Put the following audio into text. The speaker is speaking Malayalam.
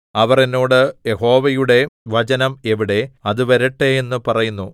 അവർ എന്നോട് യഹോവയുടെ വചനം എവിടെ അത് വരട്ടെ എന്നു പറയുന്നു